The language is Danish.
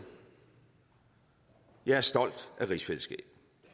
jeg er stolt af rigsfællesskabet